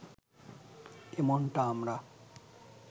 এমনটা আমরা